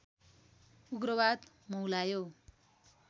उग्रवाद मौलायो